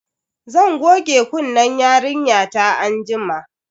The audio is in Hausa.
Zan goge kunnen yarinyata anjima.